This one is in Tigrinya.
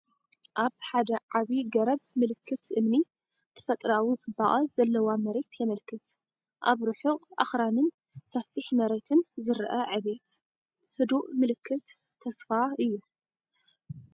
ኣብ ሓደ ዓቢ ገረብ ምልክት እምኒ፡ ተፈጥሮኣዊ ጽባቐ ዘለዋ መሬት የመልክት። ኣብ ርሑቕ ኣኽራንን ሰፊሕ መሬትን ዝረአ ዕብየት፡ ህዱእ ምልክት ተስፋ'ዩ።